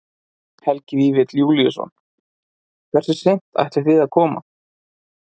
Helgi Vífill Júlíusson: Hversu seint ætlið þið að koma?